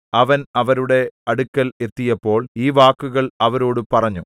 അവൻ അവരുടെ അടുക്കൽ എത്തിയപ്പോൾ ഈ വാക്കുകൾ അവരോടു പറഞ്ഞു